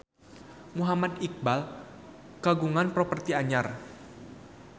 Muhammad Iqbal kagungan properti anyar